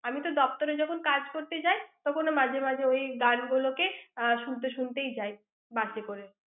আমি তো দফতরে যখন কাজ করতে যাই, তখন মাঝেমাঝে ওই গাছগুলোকে শুনতে শুনতেই যাই। বাসে করে।